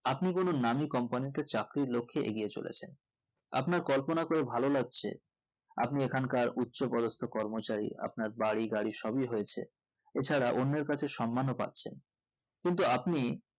আপনি কোনো নামি company তে চাকরির লক্ষে এগিয়ে চলেছেন আপনার কল্পনা করে ভালো লাগছে আপনি এখানকার উচ্চপদস্থ কর্মচারি আপনার বাড়ি গাড়ি সবি হয়েছে এছাড়াও অন্যের কাছে সম্মানও পাচ্ছেন কিন্তু আপনি